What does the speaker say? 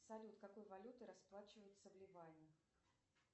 салют какой валютой расплачиваются в ливане